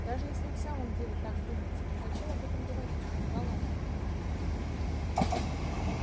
даже если вы в самом деле так думаете то зачем об этом говорить упрекала она его